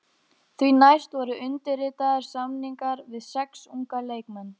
Því næst voru undirritaðir samningar við sex unga leikmenn.